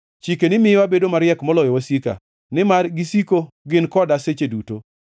Chikeni miyo abedo mariek moloyo wasika, nimar gisiko gin koda seche duto.